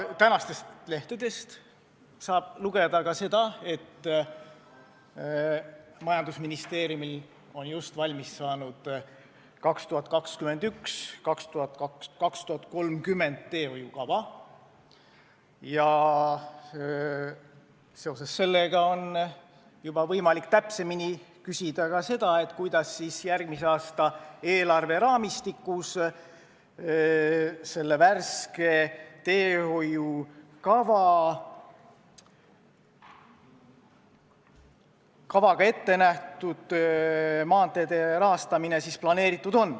Tänastest lehtedest saab lugeda, et majandusministeerium on just valmis saanud teehoiukava aastateks 2021–2030 ja sellest tulenevalt on võimalik juba täpsemini küsida, kuidas on järgmise aasta eelarve raamistikus planeeritud selle värske teehoiukavaga ette nähtud maanteede rahastamine.